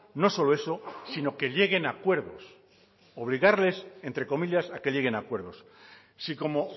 no solo eso sino que lleguen a acuerdos obligarles entre comillas a que lleguen a acuerdos si como